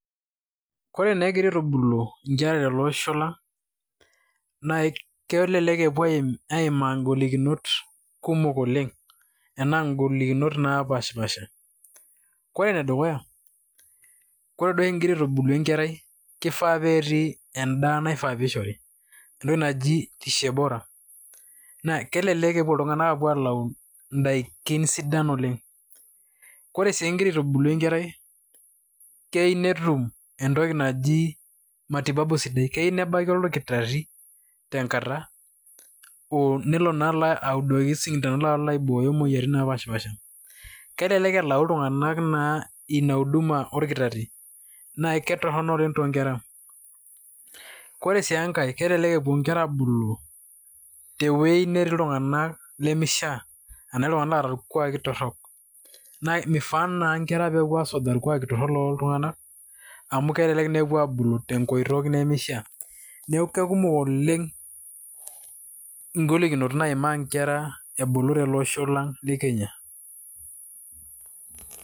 ore naa egirae aitubulu inkera tele osho lang, naa kelek epuo aimaa ing'olikinot kumok oleng' anaa ing'olikinot naapashipaasha, kore ene dukuya ,ore duo igira aitubulu enkerai kifaa petii edaa naifaa peishori, entoki naji l lishe bora. naa kelelk epuo iltunganak aing'oru idaikin sidan oleng. ore sii igira aitubulu enkerai, keyieu netum entoki naji, matibabu sidai. keyieu nedol olkitari tenkata. nelo naa audoki isindanoni alo aibooyo imoyiaritin naapashipaasha. kelelek elau naa iltunganak ina uduma olkitari. naa kitorono oleng too nkera. ore sii enkae kelelk epuo inkera aabulu te wueji netii iltunganak lemeishaa ana iltunganak oota irkuaaki torok. naa mifaa naa nkera pee epuo asujaa irkuuaki torok loooltunganak amu kelek na epuo aabulu te nkoitoi nemeishaa. neeku kekumok oleng ing'olinot naimaa nkera ebulu tele osho lang le kenya.